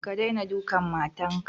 Ka daina dukan matarka!